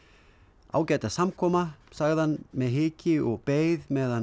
ágæta samkoma sagði hann með hiki og beið meðan